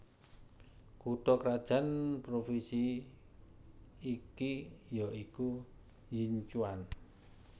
Kutha krajan Provinsi iki ya iku Yinchuan